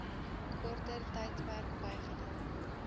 korter tydperk bygedra